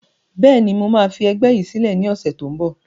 Bẹ́ẹ̀ni, mo máa fi ẹgbẹ́ yìí sílẹ̀ ni ọ̀sẹ̀ tó ń bọ̀